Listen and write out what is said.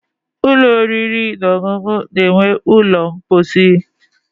Ụlọ oriri na ọṅụṅụ na-enwe ụlọ mposi.